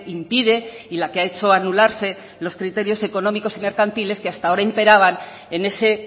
impide y la que ha hecho anularse los criterios económicos y mercantiles que hasta ahora imperaban en ese